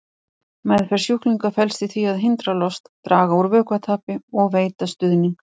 Meðferð sjúklinga felst í því að hindra lost, draga úr vökvatapi og veita stuðning.